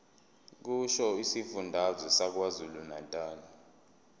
kusho isifundazwe sakwazulunatali